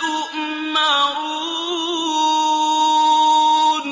تُؤْمَرُونَ